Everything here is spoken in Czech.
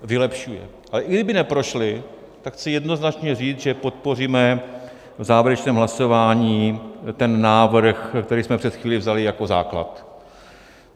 Ale i kdyby neprošly, tak chci jednoznačně říct, že podpoříme v závěrečném hlasování ten návrh, který jsme před chvílí vzali jako základ.